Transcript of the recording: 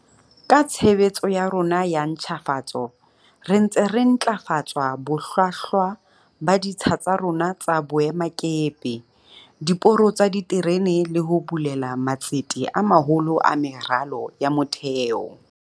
Ka tshebetso ya rona ya ntjhafatso re ntse re ntlafatsa bohlwa hlwa ba ditsha tsa rona tsa boemakepe, diporo tsa diterene le ho bulela matsete a maholo a meralo ya motheo.